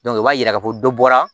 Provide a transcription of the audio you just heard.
i b'a yira ka fɔ ko dɔ bɔra